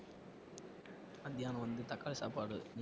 மத்தியானம் வந்து தக்காளி சாப்பாடு